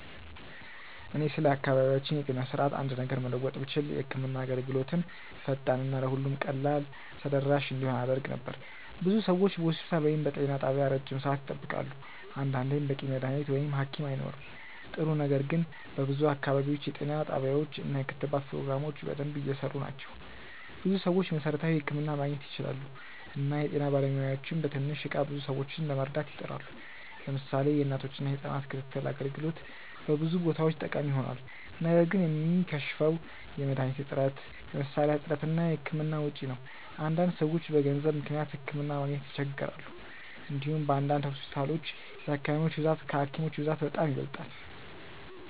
እኔ ስለ አካባቢያችን የጤና ስርዓት አንድ ነገር መለወጥ ብችል የህክምና አገልግሎትን ፈጣን እና ለሁሉም ቀላል ተደራሽ እንዲሆን አደርግ ነበር። ብዙ ሰዎች በሆስፒታል ወይም በጤና ጣቢያ ረጅም ሰዓት ይጠብቃሉ፣ አንዳንዴም በቂ መድሀኒት ወይም ሀኪም አይኖርም። ጥሩ ነገር ግን በብዙ አካባቢዎች የጤና ጣቢያዎች እና የክትባት ፕሮግራሞች በደንብ እየሰሩ ናቸው። ብዙ ሰዎች መሠረታዊ ሕክምና ማግኘት ይችላሉ እና የጤና ባለሙያዎችም በትንሽ እቃ ብዙ ሰዎችን ለመርዳት ይጥራሉ። ለምሳሌ የእናቶችና የህጻናት ክትትል አገልግሎት በብዙ ቦታዎች ጠቃሚ ሆኗል። ነገር ግን የሚከሽፈው የመድሀኒት እጥረት፣ የመሳሪያ እጥረት እና የህክምና ወጪ ነው። አንዳንድ ሰዎች በገንዘብ ምክንያት ሕክምና ማግኘት ይቸገራሉ። እንዲሁም በአንዳንድ ሆስፒታሎች የታካሚዎች ብዛት ከሀኪሞች ብዛት በጣም ይበልጣል።